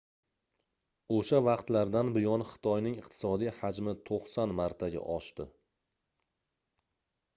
oʻsha vaqtlardan buyon xitoyning iqtisodiy hajmi 90 martaga oʻsdi